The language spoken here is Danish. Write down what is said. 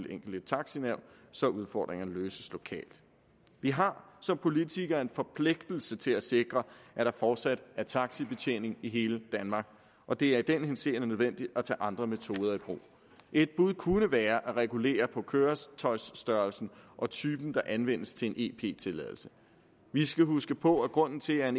enkelte taxanævn så udfordringerne løses lokalt vi har som politikere en forpligtelse til at sikre at der fortsat er taxibetjening i hele danmark og det er i den henseende nødvendigt at tage andre metoder i brug et bud kunne være at regulere på køretøjstørrelsen og typen der anvendes til en ep tilladelse vi skal huske på at grunden til at